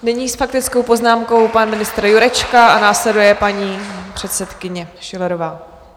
Nyní s faktickou poznámkou pan ministr Jurečka a následuje paní předsedkyně Schillerová.